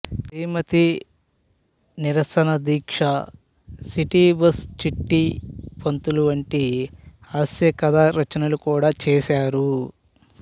శ్రీమతి నిరసనదీక్ష city bus Chitti Pantulu వంటి హాస్య కథా రచనలు కూడా చేశారు